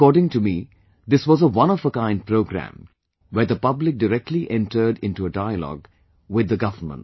According to me, this was a one of a kind programme where the public directly entered into a dialogue with the Government